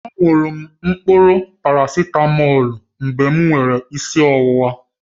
A ṅụrụ m mkpụrụ parasitamọlu mgbe m nwere isi ọwụwa